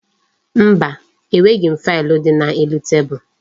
Mba, enweghi faịlụ dị n'elu tebulu gị